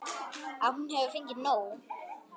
Að hún hefur fengið nóg.